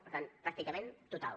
per tant pràcticament total